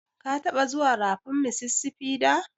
Ka taɓa zuwan rafin Mississipi da?